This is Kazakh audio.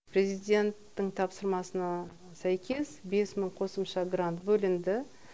президенттің тапсырмасына сәйкес бес мың қосымша грант бөлінді